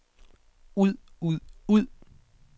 ud ud ud